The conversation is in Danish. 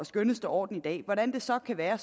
skønneste orden i dag hvordan det så kan være